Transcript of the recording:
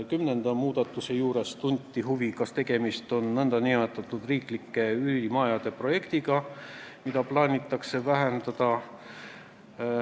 Kümnenda muudatuse puhul tunti huvi, kas tegemist on nn riigi üürimajade projektiga, mida plaanitakse vähendada.